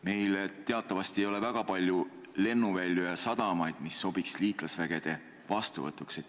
Meil ei ole teatavasti väga palju lennuvälju ja sadamaid, mis sobiksid liitlasvägede vastuvõtuks.